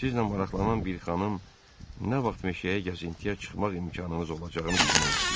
Sizlə maraqlanan bir xanım nə vaxt meşəyə gəzintiyə çıxmaq imkanınız olacağını bilmək istəyir.